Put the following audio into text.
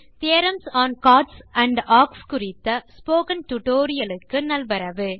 theorems on chords and arcs in GeoGebra tutorial க்கு நல்வரவு